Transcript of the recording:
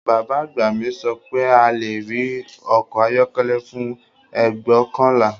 Bàbá àgbà mi sọ pé a lè rí ọkọ̀ ayọ́kọ́lẹ́ fún ẹgbọkanla